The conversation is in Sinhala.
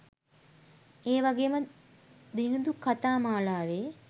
ඒවගේම දිනිඳුකතා මාලාවේ